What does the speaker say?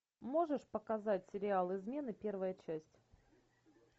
можешь показать сериал измены первая часть